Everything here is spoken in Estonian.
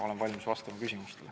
Olen valmis vastama küsimustele.